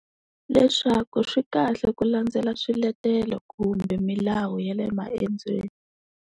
Leswaku swi kahle ku landzela swiletelo kumbe milawu ya le maendzweni.